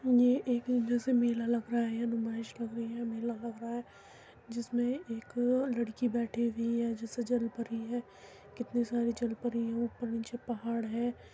ये एक यहां से मेला लग रहा है नुमाइस लग रही है मेला लग रहा है जिसमें एक लड़की बेठी हुई है जैसे जल परी है कितनी सारी जल परी हैं ऊपर नीचे पहाड़ हैं।